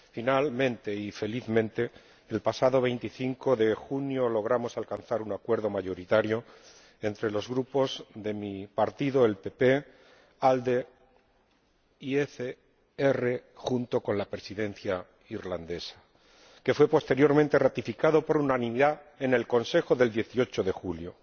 Finalmente y felizmente el pasado 25 de junio logramos alcanzar un acuerdo mayoritario entre los Grupos PPE el mío ALDE y ECR, junto con la Presidencia irlandesa, que fue posteriormente ratificado por unanimidad en el Consejo del 18 de julio.